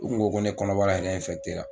U kun ko ko ne kɔnɔbara yɛrɛ la.